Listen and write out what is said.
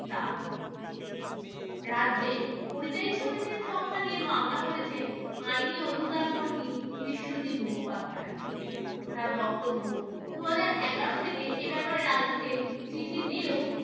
তারও রাজ্যে পরিযায়ী শ্রমিকের সংখ্যা নিয়ে মামলা করেছেন আইনি-অধিকার কর্মী বিশ্বজিৎ মুখোপাধ্যায়। তার বক্তব্য, দুহাজার এগারো থেকে এ ব্যাপারে রাজ্যকে চিঠি দিয়েও